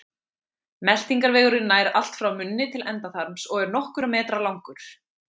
meltingarvegurinn nær allt frá munni til endaþarms og er nokkurra metra langur